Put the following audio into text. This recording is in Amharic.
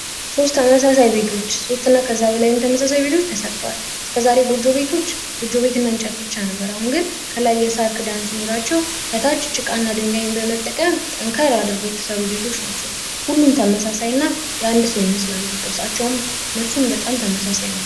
ሶስት ተመሳሳይ ቤቶች ሶስት እና ከዛ በላይ ተመሳሳይ ቤቶች ተሠርተዋል። እስከዛሬ ጎጆ ቤቶች ጎጆ ቤትን እንጨት ብቻ ነበር። አሁን ግን ከላይ የሳር ክዳን ሲኖራቸው ከታች ጭቃና ድንጋይን በመጠቀም ጠንካራ አድርጎ የተሰሩ ቤቶች ናቸው። ሁሉም ተመሳሳይ እና የአንድ ሰው ይመስላሉ። ቅርጻቸውም፣ ልብሱም በጣም ተመሳሳይ ነው።